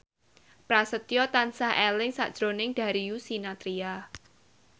Prasetyo tansah eling sakjroning Darius Sinathrya